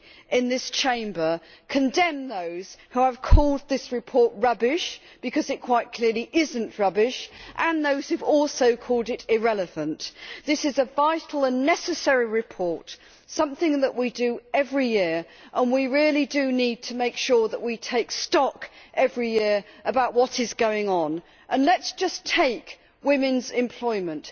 in this Chamber, condemn those who have called this report rubbish because it quite clearly is not rubbish and those who have also called it irrelevant. This is a vital and necessary report, something that we do every year, and we really do need to make sure that we take stock every year about what is going on. Let us just take women's employment.